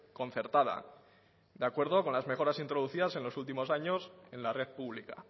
concertada de acuerdo con las mejoras introducidas en los últimos años en la red pública